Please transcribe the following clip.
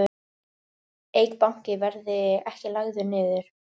Eik Banki verði ekki lagður niður